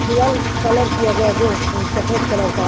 दीवार कलर किया गया जो सफेद कलर का--